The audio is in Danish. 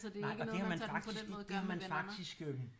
Nej og det har man faktisk det har man faktisk øh